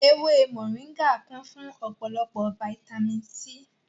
Ewé mòríngà kún fún ọ̀pọ̀lọpọ̀ fataímìn C.